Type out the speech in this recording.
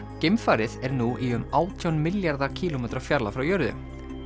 geimfarið er nú í um átján milljarða kílómetra fjarlægð frá jörðu